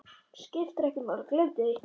Skiptir ekki máli, gleymdu því.